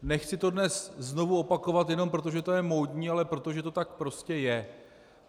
Nechci to dnes znovu opakovat jenom proto, že to je módní, ale proto, že to tak prostě je.